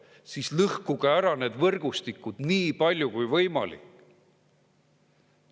Siis lõhkuge ära need võrgustikud – nii palju kui võimalik.